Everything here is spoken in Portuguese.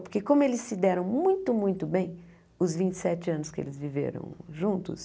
Porque como eles se deram muito, muito bem, os vinte e sete anos que eles viveram juntos...